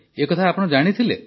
ଏହା ଜାଣିଥିଲେ